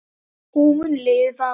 Hún mun lifa.